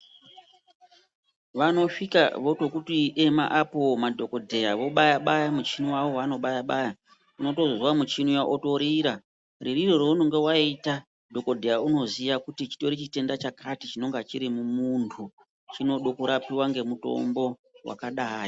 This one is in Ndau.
Vanosvika votokuti ema apo madhokodheya, vobaya-baya muchini wavo wavano baya-baya unotozwa muchini uya wotorira. Muririre waunenge waita dhokodheya unoziya kuti chitori chitenda chakati chinonga chiri mumuntu, chinode kurapiwa ngemutombo wakadai.